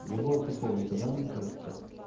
не было такого никогда мне кажется